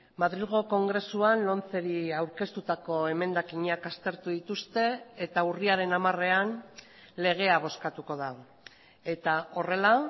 madrilgo kongresuan lomceri aurkeztutako emendakinak aztertu dituzte eta urriaren hamarean legea bozkatuko da eta horrela